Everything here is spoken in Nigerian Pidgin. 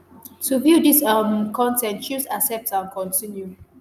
to view dis um con ten t choose 'accept and continue'.